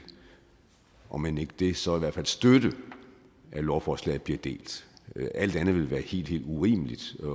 omend ikke det så i hvert fald støtte at lovforslaget bliver delt alt andet vil være helt helt urimeligt